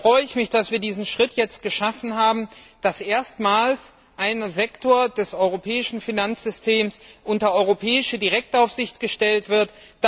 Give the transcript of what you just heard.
Zwar freue ich mich, dass wir diesen Schritt jetzt geschafft haben, dass erstmals ein Sektor des europäischen Finanzsystems unter europäische Direktaufsicht gestellt wird.